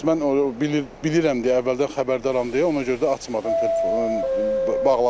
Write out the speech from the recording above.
Bəs mən bilirəm deyə, əvvəldən xəbərdaram deyə, ona görə də açmadım telefon, bağladım